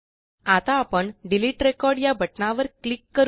आता आपण delete record या बटणावर क्लिक करू या